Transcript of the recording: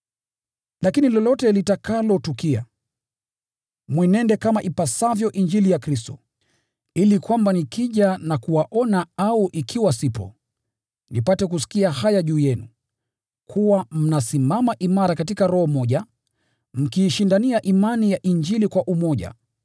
Lakini lolote litakalotukia, mwenende kama ipasavyo Injili ya Kristo, ili kwamba nikija na kuwaona au ikiwa sipo, nipate kusikia haya juu yenu: Kuwa mnasimama imara katika roho moja, mkiishindania imani ya Injili kwa umoja,